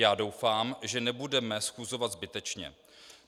Já doufám, že nebudeme schůzovat zbytečně.